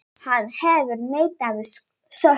Hann hefur neitað sök.